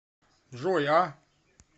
джой а